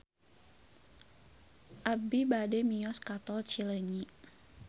Abi bade mios ka Tol Cileunyi